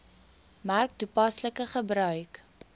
merk toepaslike gebruik